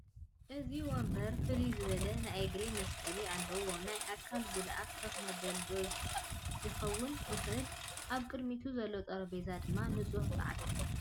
እዚ ወንበር ፍልይ ዝበለ ናይ እግሪ መስቐሊ ኣለዎ ናይ ኣካል ጉድኣይ ከፍ መበሊ ' ዶ ክኸውን ይኽእል ፡ ኣብ ቕድሚቱ ዘሎ ጠረጴዛ ድማ ንፁሕ ፃዕዳ ።